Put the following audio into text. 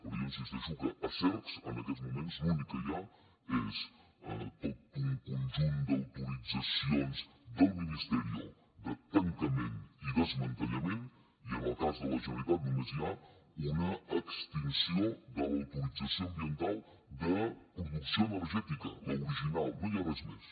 però jo insisteixo que a cercs en aquests moments l’únic que hi ha és tot un conjunt d’autoritzacions del ministeriollament i en el cas de la generalitat només hi ha una extinció de l’autorització ambiental de producció energètica l’original no hi ha res més